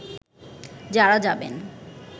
যারা যাবেন